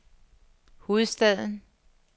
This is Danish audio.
hovedstaden